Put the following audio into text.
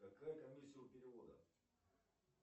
какая комиссия у перевода